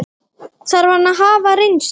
Þarf hann að hafa reynslu?